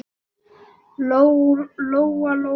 Lóa-Lóa mín, sagði mamma.